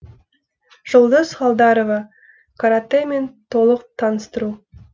жұлдыз халдарова каратэмен толық таныстыру